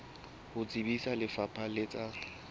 ho tsebisa lefapha la tsa